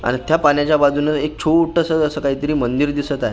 आणि त्या पाण्याच्या बाजूनं एक छोटसं असं काहीतरी मंदिर दिसत आहे.